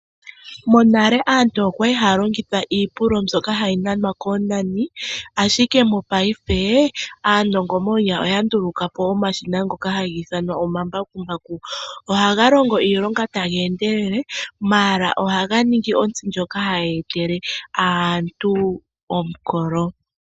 Monale aantu okwali haya longitha iipulo mbyoka hayi nanwa koonani ashike mopayife aanongo monyala oya ndulukapo omashina ngoka haga ithanwa omambakumbaku. Ohaga longo iilonga taga endelele mala ohaga ningi ontsi ndyoka hayi etele aantu omukolo.